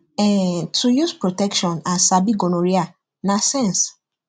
um to use protection and sabi gonorrhea na sense